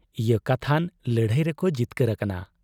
ᱤᱭᱟᱹ ᱠᱟᱛᱷᱟᱱ ᱞᱟᱹᱲᱦᱟᱹᱭ ᱨᱮᱠᱚ ᱡᱤᱛᱠᱟᱹᱨ ᱟᱠᱟᱱᱟ ᱾